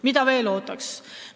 Mida veel ootaks?